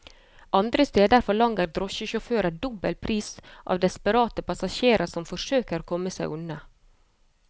Andre steder forlanger drosjesjåfører dobbel pris av desperate passasjerer som forsøker å komme seg unna.